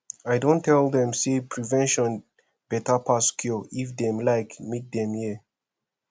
i don tell dem say prevention better pass cure if dem like make dem hear